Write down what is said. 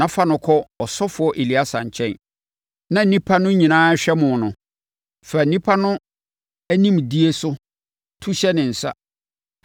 na fa no kɔ ɔsɔfoɔ Eleasa nkyɛn, na nnipa no nyinaa rehwɛ mo no, fa nnipa no animdie so tumi hyɛ ne nsa.